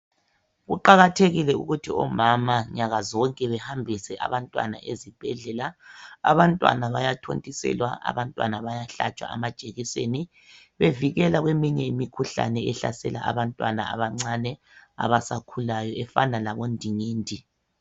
Kuqakathekile ukuthi omama inyanga zonke bahambise abantwana ezibhedlela. Abantwana bayathontiselwa , abantwana bayahlatshwa amajekiseni bevikelwa kweminye imikhuhlane ehlasela abantwana abancane abasakhulayo efana labondingindi.